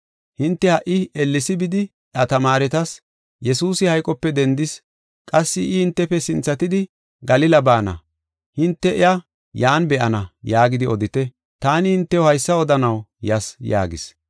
Hinte ha77i ellesi bidi, iya tamaaretas, ‘Yesuusi hayqope dendis. Qassi I hintefe sinthatidi Galila baana; hinte iya yan be7ana’ yaagidi odite. Taani hintew haysa odanaw yas” yaagis.